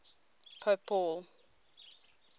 pope paul